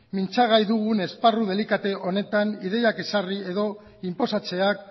mintza gai dugun esparru delikatu honetan ideiak ezarri edo inposatzeak